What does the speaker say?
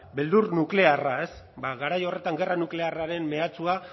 beldur nuklearra ez bada garai horretan gerra nuklearraren mehatxua